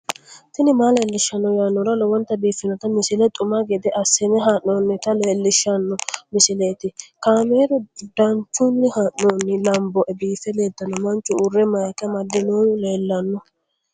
tini maa leelishshanno yaannohura lowonta biiffanota misile xuma gede assine haa'noonnita leellishshanno misileeti kaameru danchunni haa'noonni lamboe biiffe leeeltanno manchu ure mayika amadinohu leellanno